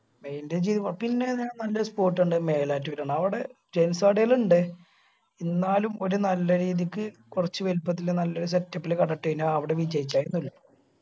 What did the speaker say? maintain ചെയ്യുമ്പോ പിന്നെ നല്ലെ spot ഇണ്ട് മേലാറ്റൂര് അവിടെ gents കടയെല്ലും ഇണ്ട് എന്നാലും ഒരു നല്ല രീതിക്ക് കൊർച് വെൽപത്തില് നല്ലൊരു setup ഇല് കട ഇട്ട് കയിഞ്ഞ അവിടെ വിജയിച്ച